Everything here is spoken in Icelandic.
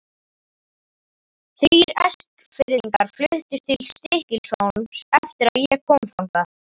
Þrír Eskfirðingar fluttust til Stykkishólms eftir að ég kom þangað.